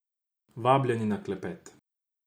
Vabljeni na klepet.